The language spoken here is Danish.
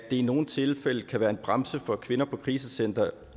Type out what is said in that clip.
i nogle tilfælde kan være en bremse for at kvinder på krisecentre